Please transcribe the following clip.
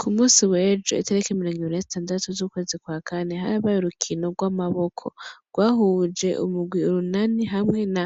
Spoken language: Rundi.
Ku munsi w'ejo itiriki mirongibiri na zitandatu z'ukwezi kwa kane ,harabaye urukino rw'amaboko rwahuje urunani hamwe na